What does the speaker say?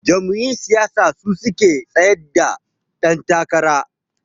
Jam'iyyun siyasa suke tsayar da dan takara.